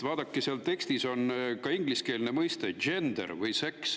Vaadake, seal tekstis on ka ingliskeelne mõiste: gender või sex.